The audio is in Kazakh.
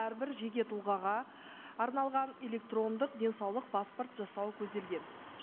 әрбір жеке тұлғаға арналған электрондық денсаулық паспорт жасауы көзделген